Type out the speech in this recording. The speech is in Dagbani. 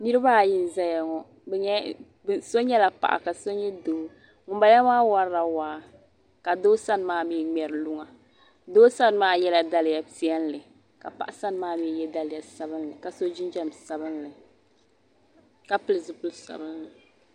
Niribi ayi n ʒaya ŋɔ so nyɛla paɣa ka so nyɛ doo , ŋun bala maa warila waa. ka doo sani maa mi mŋeri luŋa. doo sani maa yela daliya piɛli , ka paɣi sanimaa mi ye daliya sabinli kaso jinjam sabinli, ka pili zipili sabinli.